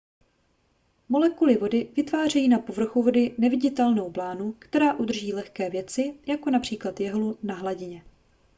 molekuly vody vytvářejí na povrchu vody neviditelnou blánu která udrží lehké věci jako například jehlu na hladině